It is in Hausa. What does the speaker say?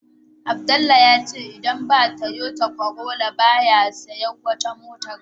Abdullah yace idan ba Toyota Corolla ba ya siyan wata mota